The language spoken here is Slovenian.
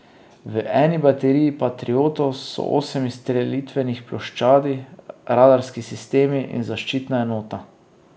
V eni bateriji patriotov so osem izstrelitvenih ploščadi, radarski sistem in zaščitna enota.